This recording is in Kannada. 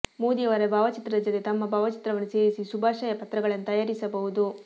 ಮೋದಿ ಅವರ ಭಾವಚಿತ್ರದ ಜತೆ ತಮ್ಮ ಭಾವಚಿತ್ರವನ್ನು ಸೇರಿಸಿ ಶುಭಾಶಯ ಪತ್ರಗಳನ್ನು ತಯಾರಿಸಬಹುದು